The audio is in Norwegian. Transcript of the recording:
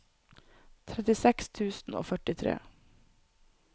trettiseks tusen og førtitre